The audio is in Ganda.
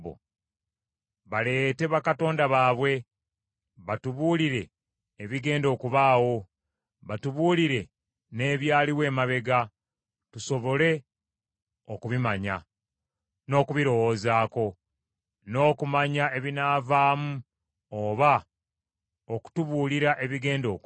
“Baleete bakatonda bwabwe batubuulire ebigenda okubaawo. Batubuulire n’ebyaliwo emabega, tusobole okubimanya, n’okubirowoozaako n’okumanya ebinaavaamu oba okutubuulira ebigenda okujja.